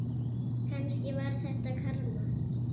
Kannski var þetta karma.